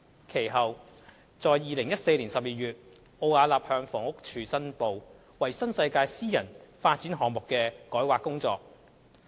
其後，在2014年12月，奧雅納向房屋署申報參與新世界發展有限公司私人發展項目的改劃工作。